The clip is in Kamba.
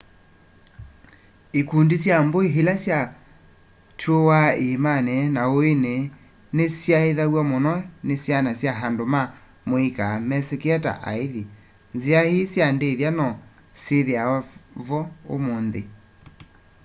ikundi sya mbui ila syatuuwaa iimani na uiini ni syaithyawa muno ni syana kana andu ma muika mesikie ta aithi nzia ii sya ndithya no syithiawa vo umunthi